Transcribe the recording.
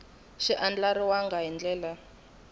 xi andlariwangi hi ndlela yo